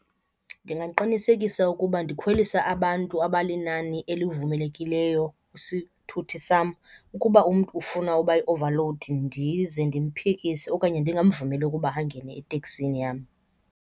Ndingaqinisekisa ukuba ndikhwelisa abantu abalinani elivumelekileyo kwisithuthi sam. Ukuba umntu ufuna uba yi-overload ndize ndimphikise okanye ndingamvumeli ukuba angene eteksini yam.